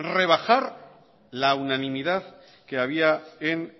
rebajar la unanimidad que había en